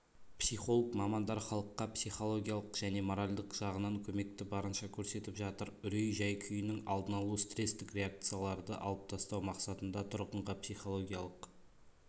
психолог мамандар халыққа психологиялық және моральдық жағынан көмекті барынша көрсетіп жатыр үрей жай-күйінің алдын-алу стресстік реакцияларды алып тастау мақсатында тұрғынға психологиялық